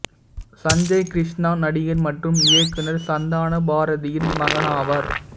சஞ்சய் கிருஷ்ணா நடிகர் மற்றும் இயக்குனர் சந்தான பாரதியின் மகனாவார்